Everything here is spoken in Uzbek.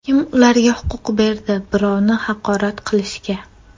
Kim ularga huquq berdi birovni haqorat qilishga?.